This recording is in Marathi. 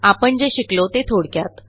आपण जे शिकलो ते थोडक्यात